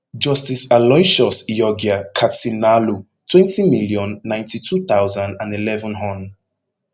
justice aloysius iyorgyer katsinaalu twenty million, ninety-two thousand and eleven hon